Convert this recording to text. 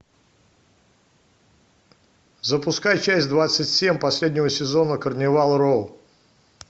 запускай часть двадцать семь последнего сезона карнивал роу